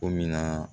Ko min na